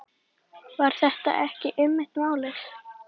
Var þetta ekki einmitt málið?